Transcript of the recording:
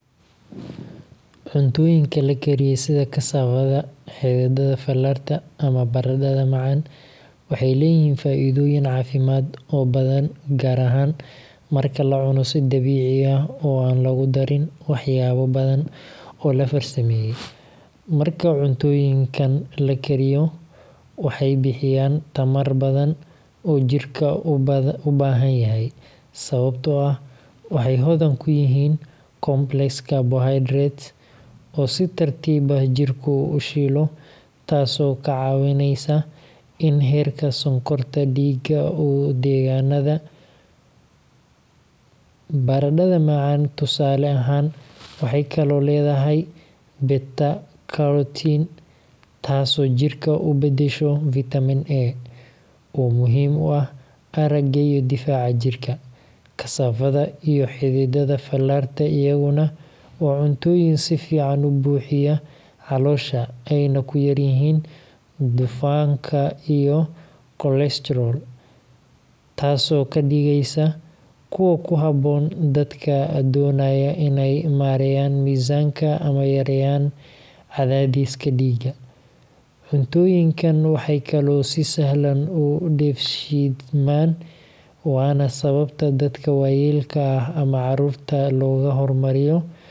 Cuntooyinka la kariyey sida kasaafada, xididdada fallarta, ama baradhada macaan waxay leeyihiin faa’iidooyin caafimaad oo badan, gaar ahaan marka la cuno si dabiici ah oo aan lagu darin waxyaabo badan oo la farsameeyey. Marka cuntooyinkan la kariyo, waxay bixiyaan tamar badan oo jidhka u baahan yahay, sababtoo ah waxay hodan ku yihiin complex carbohydrates oo si tartiib ah jidhku u shiilo, taasoo kaa caawineysa in heerka sonkorta dhiigga uu degganaado. Baradhada macaan, tusaale ahaan, waxay kaloo leedahay beta-carotene, taasoo jidhka u beddesho Vitamin A oo muhiim u ah aragga iyo difaaca jirka. Kasaafada iyo xididdada fallarta iyaguna waa cuntooyin si fiican u buuxiya caloosha, ayna ku yar yihiin dufanka iyo cholesterol-ka, taasoo ka dhigaysa kuwo ku habboon dadka doonaya inay maareeyaan miisaanka ama yareeyaan cadaadiska dhiigga. Cuntooyinkan waxay kaloo si sahlan u dheefshiidmaan, waana sababta dadka waayeelka ah ama carruurta.